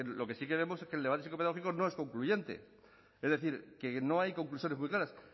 lo que sí creemos es que el debate psicopedagógico no es concluyente es decir que no hay conclusiones muy claras